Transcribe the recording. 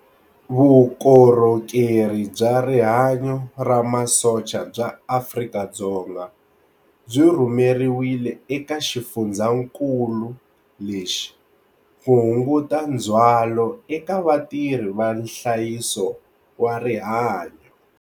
Vukorhokeri bya Rihanyu ra Masocha bya Afrika-Dzonga byi rhumeriwile eka xifundzakulu lexi ku hunguta ndzhwalo eka vatirhi va nhlayiso wa rihanyu.